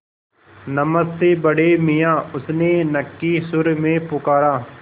नमस्ते बड़े मियाँ उसने नक्की सुर में पुकारा